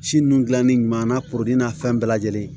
Si nun dilanni ɲuman na kurun na fɛn bɛɛ lajɛlen